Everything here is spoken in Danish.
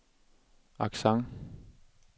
accent